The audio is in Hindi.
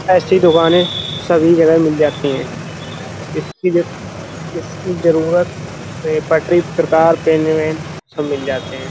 ऐसी दुकानें सभी जगह मिल जाती हैं। इसकी इसकी जरुरत पटरी प्रकार पेन वेन सब मिल जाते हैं।